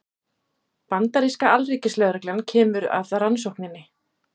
Bandaríska alríkislögreglan kemur að rannsókninni